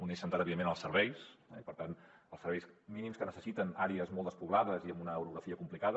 un eix centrat evidentment en els serveis i per tant els serveis mínims que necessiten àrees molt despoblades i amb una orografia complicada